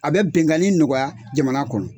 A bɛ bɛnganni nɔgɔya jamana kɔnɔ.